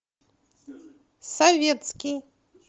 советский